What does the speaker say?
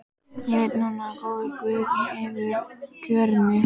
Ég veit núna að góður guð hefur kjörið mig.